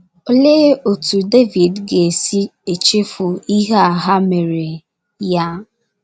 Olee otú Devid ga - esi echefu ihe a ha meere ya?